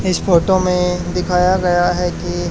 इस फोटो में दिखाया गया है कि--